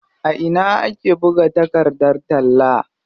A ina ake buga takardar talla?